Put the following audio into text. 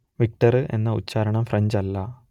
Victor എന്ന ഉച്ചാരണം French അല്ല